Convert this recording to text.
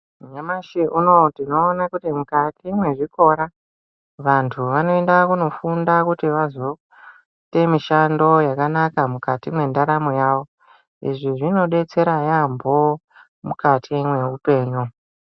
Nyamashi unowu tinoona kuti mukati mezvikora vantu vanoenda kundofunda kuti vazoita mishando yakanaka mukati mendaramo yavo izvi zvinodetsera yambo mukati mehupenyu.